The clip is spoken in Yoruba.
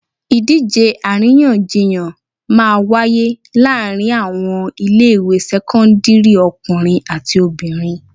Ìdíje àríyànjiyàn máa wáyé láàárín àwọn ilé ìwé sẹ́kọ́ńdírì ọkùnrin àti obìnrin.